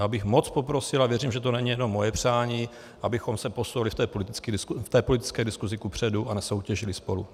Já bych moc poprosil, a věřím, že to není jenom moje přání, abychom se posunuli v té politické diskusi kupředu a nesoutěžili spolu.